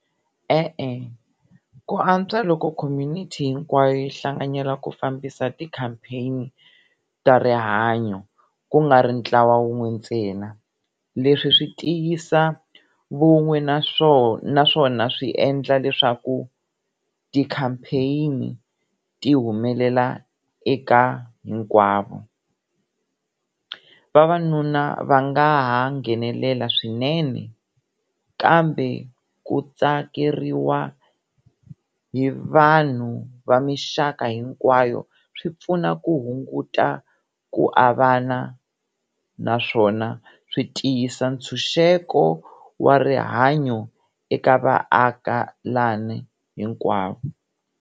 E-e ku antswa loko community hinkwayo yi hlanganyela ku fambisa ti-campaign ta rihanyo ku nga ri ntlawa wun'we ntsena, leswi swi tiyisa vun'we naswona swi endla leswaku ti-campaign ti humelela eka hinkwavo. Vavanuna va nga ha nghenelela swinene kambe ku tsakeriwa hi vanhu va mixaka hinkwayo swi pfuna ku hunguta ku avana naswona swi tiyisa ntshunxeko wa rihanyo eka vaakelani hinkwavo.